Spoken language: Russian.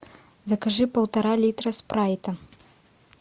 закажи полтора литра спрайта